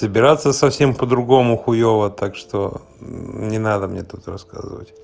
собираться совсем по-другому хуёво так что мм не надо мне тут рассказывать